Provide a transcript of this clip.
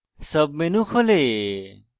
sub menu খোলে